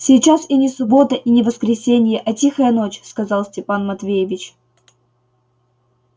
сейчас и не суббота и не воскресенье а тихая ночь сказал степан матвеевич